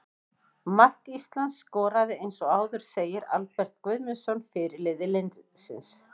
Mark Ísland skoraði eins og áður segir Albert Guðmundsson, fyrirliði liðsins.